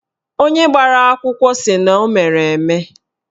Onye gbara akwụkwọ sị na o mere eme